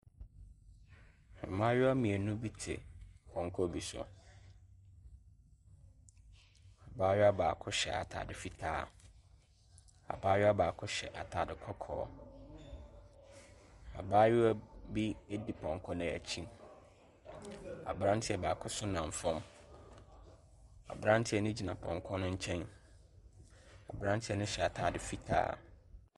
Mmayewa mmienu bi te pɔnkɔ bi so. Abayewa baako hyɛ atade fitaa. Abayewa baako hyɛ atade kɔkɔɔ. Abayewa bi di pɔnkɔ no akyi. Aberanteɛ baako nso nam fam. Aberanteɛ no gyina pɔnkɔ no nkyɛn. Aberanteɛ no hyɛ atade fitaa.